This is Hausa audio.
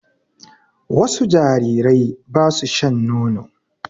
Wasu jarirai ba su shan nono.